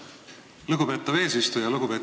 Lugupeetav eesistuja!